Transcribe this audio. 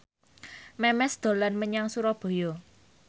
Memes dolan menyang Surabaya